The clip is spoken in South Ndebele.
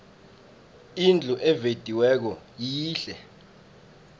indlu evediweko yihle